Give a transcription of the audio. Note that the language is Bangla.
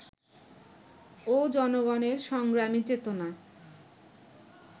ও জনগণের সংগ্রামী চেতনা